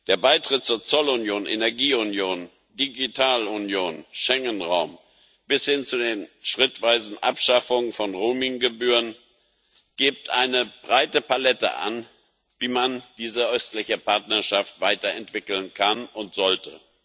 Der Beitritt zur Zollunion, Energieunion, Digitalunion, zum Schengenraum bis hin zu den schrittweisen Abschaffungen von Roaming Gebühren gibt eine breite Palette an, wie man diese Östliche Partnerschaft weiterentwickeln kann und sollte.